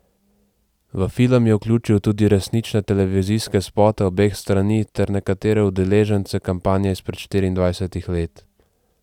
V film je vključil tudi resnične televizijske spote obeh strani ter nekatere udeležence kampanje izpred štiriindvajsetih let.